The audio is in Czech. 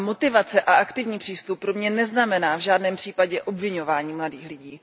A motivace a aktivní přístup pro mě neznamená v žádném případě obviňování mladých lidí.